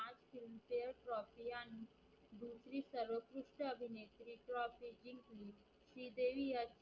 शिकश्या अभिनेत्री trophy जिंकली श्रीदेवी